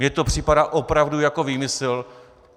Mně to připadá opravdu jako výmysl.